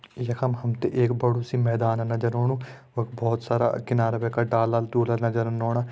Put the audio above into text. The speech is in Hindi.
यखम हम त एक बड़ू सी मैदान नजर ओणु वख बहोत सारा किनारा पे का डाला डुला नजर ओणा।